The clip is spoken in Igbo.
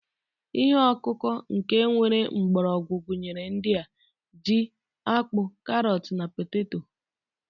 Ihe ọkụkọ nke nwere mgbọrọgwụ gụnyere ndị a: ji, akpu, karọt na poteto.